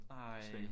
Ej!